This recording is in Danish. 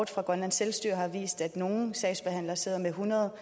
fra grønlands selvstyre har vist at nogle sagsbehandlere sidder med hundrede